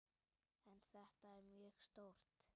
En þetta er mjög stórt.